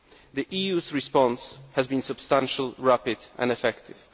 The EU's response has been substantial, rapid and effective.